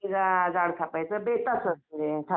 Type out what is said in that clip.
जरा जाड थापायचं बेताचं असुदे थाप